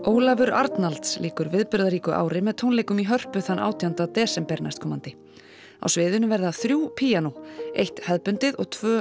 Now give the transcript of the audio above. Ólafur Arnalds lýkur viðburðaríku ári með tónleikum í Hörpu þann átjánda desember næstkomandi á sviðinu verða þrjú píanó eitt hefðbundið og tvö